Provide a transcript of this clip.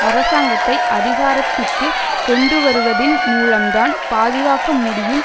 அரசாங்கத்தை அதிகாரத்திற்கு கொண்டுவருவதின் மூலம்தான் பாதுகாக்க முடியும்